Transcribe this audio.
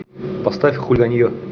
поставь хулиганье